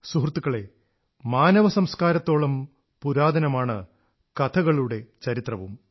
സുഹൃത്തുക്കളേ മാനവസംസ്കാരത്തോളം പുരാതനമാണ് കഥകളുടെ ചരിത്രവും